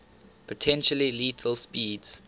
potentially lethal speeds